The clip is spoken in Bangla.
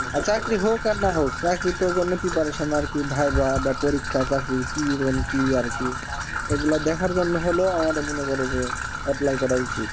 আর চাকরি হোক আর না হোক চাকরির তো জন্য preparation আরকি viva বা পরীক্ষা চাকরির কি কি আরকি এগুলা দেখার জন্য হল আমাদের মনে করো যে apply করা উচিত